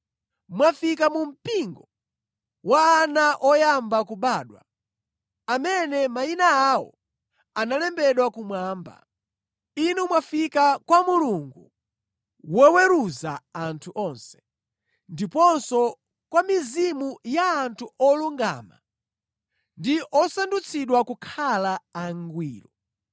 Mwafika mu mpingo wa ana oyamba kubadwa, amene mayina awo analembedwa kumwamba. Inu mwafika kwa Mulungu, woweruza anthu onse, ndiponso kwa mizimu ya anthu olungama ndi osandutsidwa kukhala angwiro.